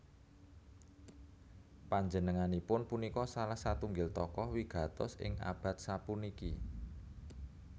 Panjenenganipun punika salah satunggil tokoh wigatos ing abad sapuniki